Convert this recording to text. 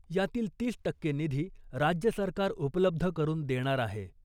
यातील तीस टक्के निधी राज्य सरकार उपलब्ध करुन देणआर आहे .